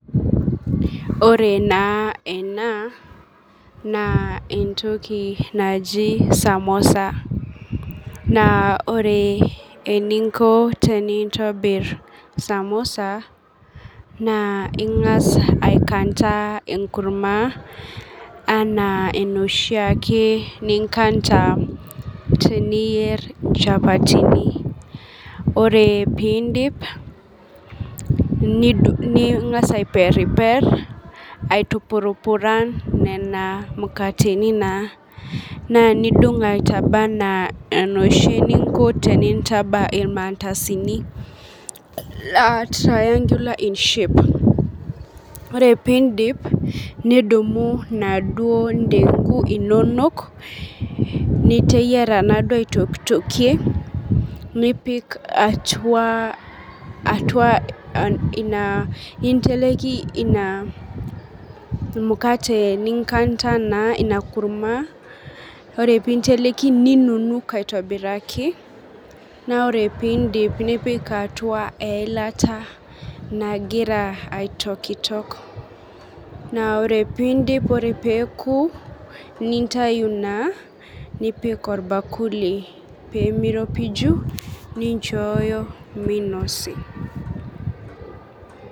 Ore naa enaa entoki najii samosa naa ore eninko tenintobir samosa naa ingas aikanta enkurumwa anaa enoshi ake ninkanta teniyer inchapateni, ore piindip ingas aiperiper, aitupurupuran nena mukateni, naa nidung' aitaba anaa enoshi ninko tenintaba emantasini naa triangular in shape, ore piindip nidumu enaduo indeng'u inonok niteyera naa duo aitoktokie nipik atua ina, ninteleki atua inaa mukate ninkata naa ina kurumwa, ore piinteleki ninunuk aitobiraki, naaku ore piindip nipik atua eilata nagira aitokitok, naa ore piindip ore peeku nintayu naa, nipik olbakuli peemeropiju ninchooyo meinosi.